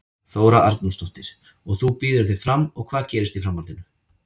Þóra Arnórsdóttir: Og þú býður þig fram og hvað gerist í framhaldinu?